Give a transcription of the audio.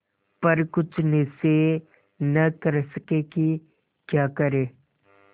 पर कुछ निश्चय न कर सके कि क्या करें